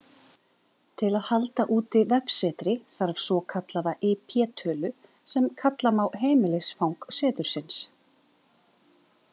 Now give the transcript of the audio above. Til að halda úti vefsetri þarf svokallaða IP-tölu sem kalla má heimilisfang setursins.